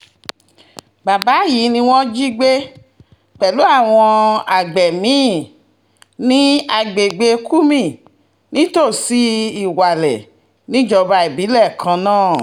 bàbá yìí ni wọ́n jí gbé pẹ̀lú àwọn àgbẹ̀ mi-ín ní agbègbè kúmi nítòsí lilwalé níjọba ìbílẹ̀ kan náà